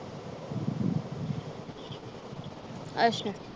ਅੱਛਾ